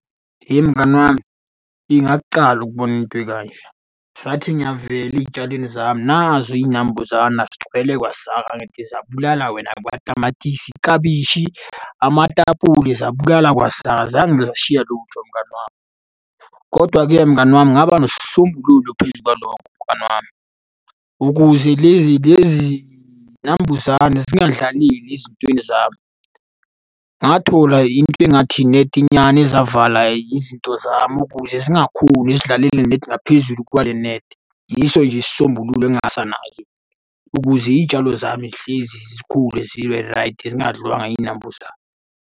Hheyi ukubona into ekanje. Ngisathi ngiyavela ey'tshalweni zami, nazi iy'nambuzana zigcwele kwasaka ngithi zabulala wena kwatamatisi, klabishi, amatapuli, zabulala kwasani. Azange zashiya lutho mngani wami, kodwa-ke mngani wami ngaba nesisombululo phezu kwalokho mngani wami, ukuze lezi lezi y'nambuzane zingadlaleli ezintweni zami, ngathola into engathi inethinyana ezavala izinto zami ukuze zingakhoni zidlalele net ngaphezulu kwale nethi. Yiso nje isisombululo ukuze iy'tshalo zami zihlezi zikhule ziberaydi zingadliwanga iy'nambuzane.